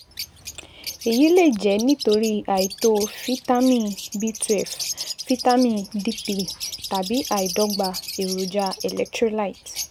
Èyí lè jẹ́ nítorí àìtó fítámì B welve, fítámì D three, tàbí àìdọ́gba èròjà electrolyte